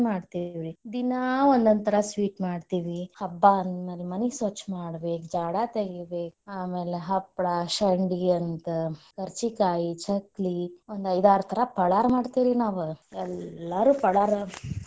ಮಾಡ್ತೇವ್ ರೀ, ದಿನಾ ಒಂದೊಂಥರ sweet ಮಾಡ್ತೀವಿ ಹಬ್ಬ ಅಂದ ಮ್ಯಾಲೆ ಮನಿ ಸ್ವಚ್ಚ ಮಾಡ್ಬೇಕ್ ಜಾಡಾ ತಗಿಬೇಕ್ ಆಮೇಲೆ ಹಪ್ಪಳ ಶಂಡಗಿ ಅಂತ ಖರ್ಚಿಕಾಯಿ, ಚಕ್ಲಿ, ಒಂದ್ ಐದಾರ್ ತರಾ ಪಳಾರ ಮಾಡ್ತೆವ್ ರಿ ನಾವ್ ಎಲ್ಲಾರು ಪಳಾರ.